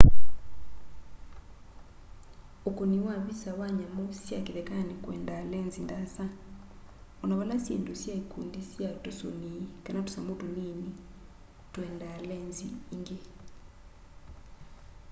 ukuni wa visa wa nyamu sya kithekani kwendaa lenzi ndaasa ona vala syindũ sya ikundi sya tũsũni kana tusamũ tũnini twendaa lenzi ingi